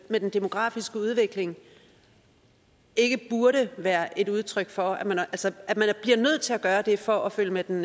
med den demografiske udvikling burde være et udtryk for at man bliver nødt til at gøre det for at følge med den